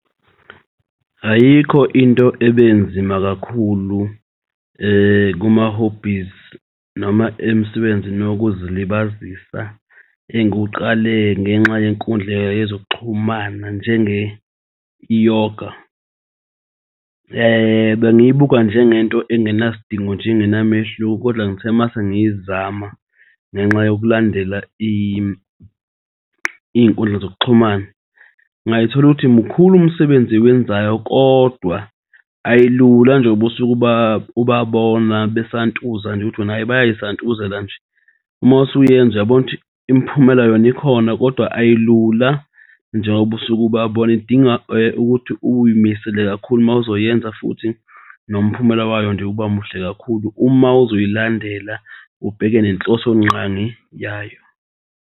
Ayikho into ebenzima kakhulu kuma-hobbies noma emsebenzini wokuzilibazisa engiwuqale ngenxa yenkundla yezokuxhumana njenge i-yoga. Bengiyibuka njengento engenasidingo nje engenamehluko kodwa ngithe masengizama ngenxa yokulandela iy'nkundla zokuxhumana ngayithola ukuthi mkhulu umsebenzi ewenzayo kodwa ayilula njengoba usuke ubabona besantuza nje uthi wena bayay'santuzela nje. Uma usuyenza uyabona ukuthi imiphumela yona ikhona kodwa ayilula njengoba usuke ubabona idinga ukuthi uy'misele kakhulu mawuzoyenza futhi nomphumela wayo nje ubamuhle kakhulu. Uma uzoyilandela ubheke nenhloso nqangi yayo.